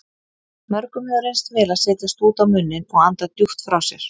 Mörgum hefur reynst vel að setja stút á munninn og anda djúpt frá sér.